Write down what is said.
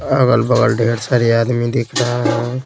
अगल बगल ढेर सारे आदमी दिख रहे हैं।